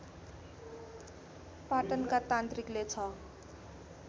पाटनका तान्त्रिकले ६